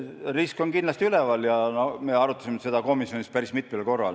Risk on kindlasti üleval ja me arutasime seda komisjonis päris mitmel korral.